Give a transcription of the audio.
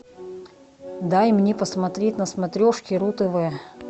дай мне посмотреть на смотрешке ру тв